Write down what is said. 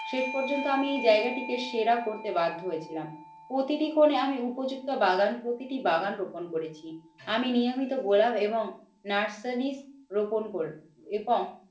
শেষ পর্যন্ত আমি এই জায়গাটিকে সেরা করতে বাধ্য হয়েছিলাম। প্রতিটি কোণে আমি উপযুক্ত বাগান প্রতিটি বাগান রোপন করেছি আমি নিয়মিত গোলাপ এবং নার্সারী রোপন কোর এবং